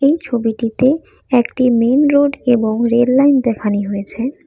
এই ছবিটিতে একটি মেইন রোড এবং রেল লাইন দেখানি হয়েছে।